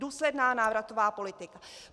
Důsledná návratová politika.